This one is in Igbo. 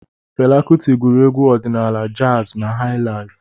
Fela Kuti gụrụ egwu ọdịnaala, jazi na hai laif.